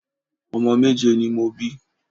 Omo méje ni mo bi